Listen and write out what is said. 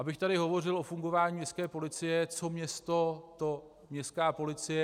Abych tady hovořil o fungování městské policie - co město, to městská policie.